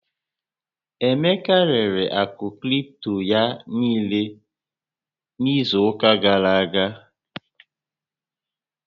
Emeka rere àkụ̀ kripto ya niile n'izu ụká gàrà aga.